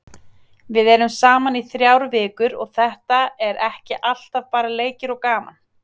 Við erum saman í þrjár vikur og þetta er ekki alltaf bara leikir og gaman.